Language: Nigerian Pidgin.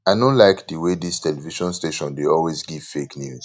i no like the way dis television station dey always give fake news